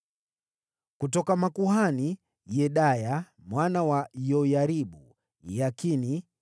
Kutoka makuhani: Yedaya, mwana wa Yoyaribu, Yakini,